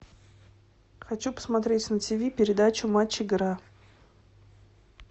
хочу посмотреть на тиви передачу матч игра